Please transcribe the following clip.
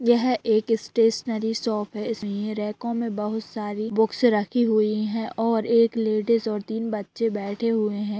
यह एक stationery shop है इस के रैकों मे बहुत सारी बुक्स रखी हुई है और एक लेडिज ओर तीन बच्चे बैठे हुए हैं ।